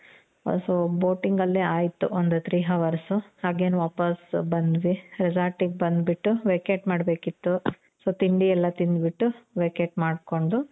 so boating ಅಲ್ಲೇ ಆಯ್ತು ಒಂದು three hours.ಹಾಗೆ ವಾಪಾಸ್ ಬಂದ್ವಿ. resort ಗೆ ಬಂದು vacate ಮಾಡ್ಬೇಕಿತ್ತು. so ತಿಂಡಿ ಎಲ್ಲಾ ತಿಂದು ಬಿಟ್ಟು vacate ಮಾಡ್ಕೊಂಡು